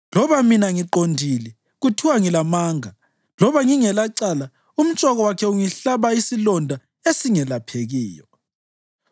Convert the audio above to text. Loba mina ngiqondile, kuthiwa ngilamanga; loba ngingelacala, umtshoko wakhe ungihlaba isilonda esingelaphekiyo.’